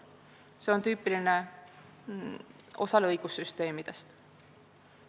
See on tüüpiline osale õigussüsteemidest.